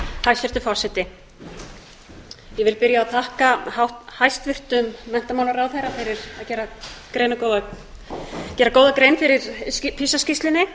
hæstvirtur forseti ég vil byrja á að þakka hæstvirtum menntamálaráðherra fyrir að gera góða grein fyrir pisa skýrslunni